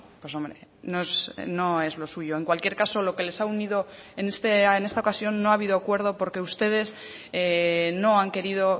pues hombre no es lo suyo en cualquier caso lo que les ha unido en esta ocasión no ha habido acuerdo porque ustedes no han querido